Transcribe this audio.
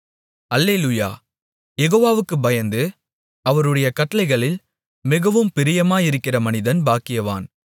அல்லேலூயா யெகோவாவுக்குப் பயந்து அவருடைய கட்டளைகளில் மிகவும் பிரியமாயிருக்கிற மனிதன் பாக்கியவான்